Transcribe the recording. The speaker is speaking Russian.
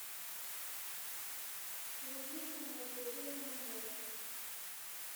луизу анатольевну мамонову